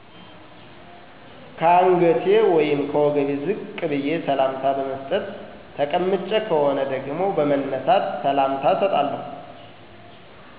ከአንገቴ ወይም ከወገቤ ዝቅ በዬ ሰላምታ በመስጠት። ተቀምጬ ከሆነ ደግሞ በመነሳት ሰላምታ እሰጣለሁ